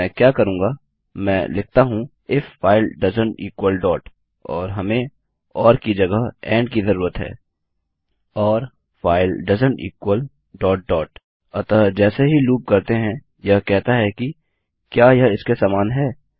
तो मैं क्या करूँगा मैं लिखता हूँ फाइल डॉट के समान नहीं हैं if file doesn't equal dot और हमें ओर की जगह एंड की ज़रूरत है और फाइल डॉट डॉट के समान नहीं हैंफाइल डोएसेंट इक्वल डॉट डॉट अतः जैसे ही लूप करते हैं यह कहता है कि क्या यह इसके समान है160